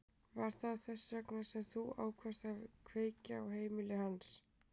Var það þess vegna sem þú ákvaðst að kveikja í heimili hans?